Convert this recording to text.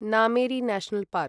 Nameri national park